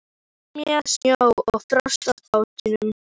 Lemja snjó og frost af bátnum.